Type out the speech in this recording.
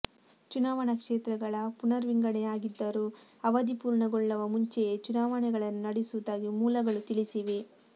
ಚುನಾವಣಾ ಕ್ಷೇತ್ರಗಳ ಪುನರ್ವಿಂಗಡಣೆಯಾಗಿದ್ದರೂ ಅವಧಿ ಪೂರ್ಣಗೊಳ್ಳವ ಮುಂಚೆಯೇ ಚುನಾವಣೆಗಳನ್ನು ನಡೆಸುವುದಾಗಿ ಮೂಲಗಳು ತಿಳಿಸಿವೆ